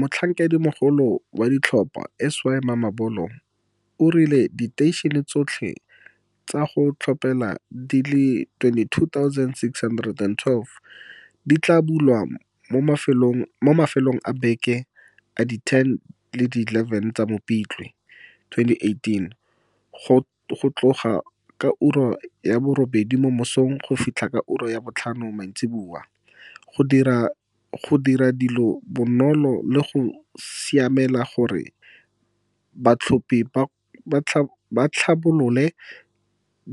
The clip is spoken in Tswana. Motlhankedimogolo wa ditlhopho Sy Mamabolo o rile diteišene tsotlhe tsa go tlhophela di le 22612 di tla bulwa mo mafelong a beke a di 10 le di 11 tsa Mopitlwe 2018 go tloga ka ura ya bo robedi mo mosong go fitlha ka ura ya botlhano maitsiboa, go dira dilo bonolo le go siamela gore batlhophi ba tlhabolole